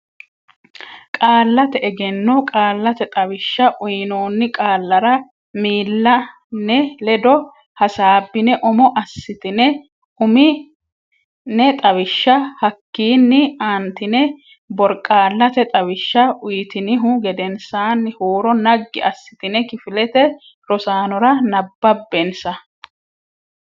Qaallate Egenno Qaallate Xawishsha uynoonni qaallara miilla ne ledo hasaabbine umo assitine umi ne xawishsha hakkiinni aantine borqaallate xawishsha uytinihu gedensaanni huuro naggi assitine kifilete rosaanora nabbabbensa.